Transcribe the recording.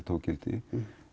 tók gildi